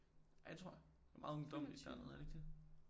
Ja det tror jeg det er meget ungdommeligt dernede er det ikke det